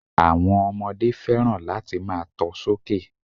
Àwon ọmọdé fẹ́ràn láti máa to sókè